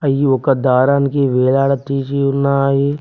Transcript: అయి ఒక దారానికి వేలాడ తీసి ఉన్నాయి.